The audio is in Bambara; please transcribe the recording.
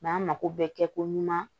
an mako bɛ kɛ ko ɲuman